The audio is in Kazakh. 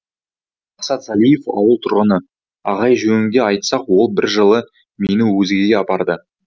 мақсат залиев ауыл тұрғыны ағай жөнінде айтсақ ол бір жылы мені өзенге апарды